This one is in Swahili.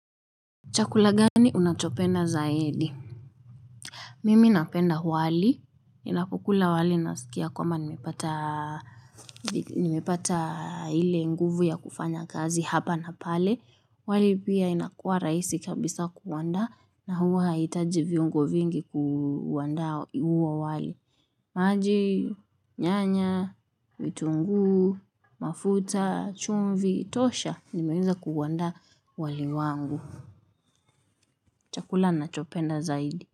Chakula gani unachopenda zaidi? Mimi napenda wali, ninapokula wali nasikia kwama nimepata nimepata hile nguvu ya kufanya kazi hapa na pale, wali pia inakua rahisi kabisa kuandaa na huwa haitaji viungo vingi kuandaa huo wali. Maji, nyanya, vitungu, mafuta, chumvi. Tosha, nimeanza kuandaa wali wangu. Chakula nachopenda zaidi.